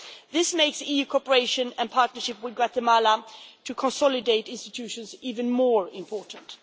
This makes EU cooperation and partnership with Guatemala to consolidate institutions even more important.